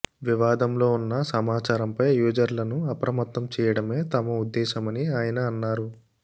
వివాదంలో ఉన్న సమాచారంపై యూజర్లను అప్రమత్తం చేయడమే తమ ఉద్దేశమని ఆయన అన్నారు